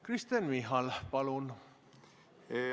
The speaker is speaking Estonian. Kristen Michal, palun!